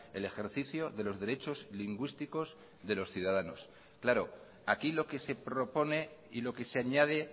el ejercicio de los derechos lingüísticos de los ciudadanos claro aquí lo que se propone y lo que se añade